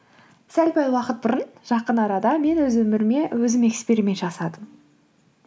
сәл пәл уақыт бұрын жақын арада мен өз өміріме өзім эксперимент жасадым